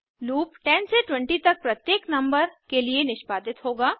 loop 10 से 20 तक प्रत्येक नंबर के लिए निष्पादित होगा